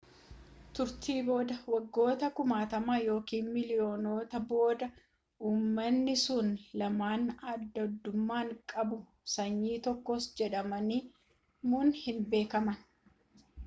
turtii booda waggoota kumaatama ykn miiliiyoonota booda uummani sun lamaan addaddumma qabu sanyii tokkos jedhamuun hin beekaman